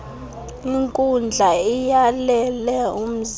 inkundla iyalele umzali